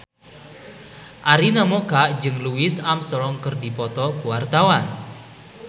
Arina Mocca jeung Louis Armstrong keur dipoto ku wartawan